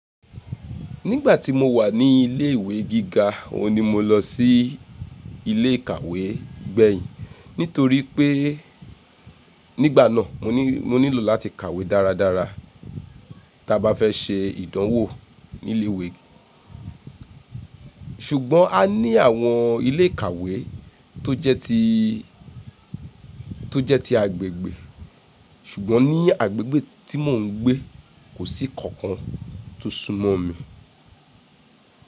Nígbà tí mo wà ní ilé ìwé gíga, òun ni mo lọ sí ilé ìkàwé gbẹ̀yìn nítorí pé nígbà náà mo nílò láti kàwé dáradára tí a bá fẹ́ ṣe ìdánwò ní ilé ìwé. Ṣùgbọ́n a ní àwọn ilé ìkàwé tó jẹ́ ti, tó jẹ́ ti agbègbè. Ṣùgbọ́n ní agbègbè tí mò ń gbé kò sí kankan tó súnmọ́ mi.